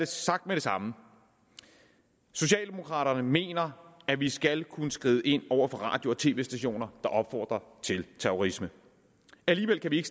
sagt med det samme socialdemokraterne mener at vi skal kunne skride ind over for radio og tv stationer der opfordrer til terrorisme alligevel kan vi ikke